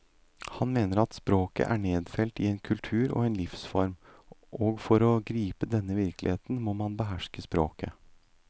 Han mener at språket er nedfelt i en kultur og en livsform, og for å gripe denne virkeligheten må man beherske språket.